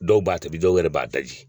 Dɔw b'a tobi dɔw yɛrɛ b'a daji,